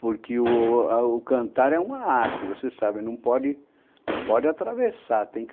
Porque o o... cantar é uma arte, você sabe, não pode, não pode atravessar.